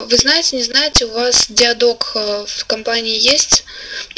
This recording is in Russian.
вы знаете не знаете у вас диадок в компании есть